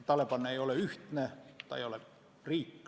Taliban ei ole ühtne, ta ei ole riik.